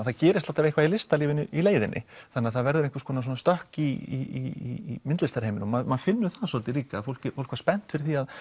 það gerist alltaf eitthvað í listalífinu í leiðinni það verður einhvers konar stökk í myndlistarheiminum maður finnur það svolítið líka fólk fólk var spennt fyrir því